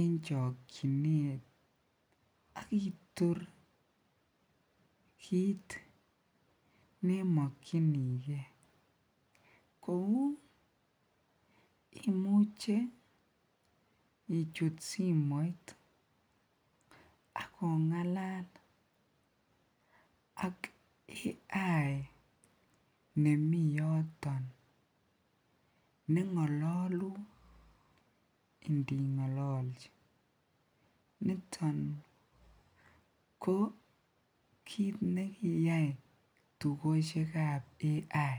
en chokyinet ak itur kiit nemokyinike kouu imuche ichut simoit ak ongalal ak AI nemii yoton nengololun indingololchi niton ko kiit nekiyai tukoshekab AI.